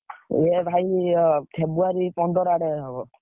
ଇଏ ଭାଇ ଇଏ February ପନ୍ଦର ଆଡେ ହବ।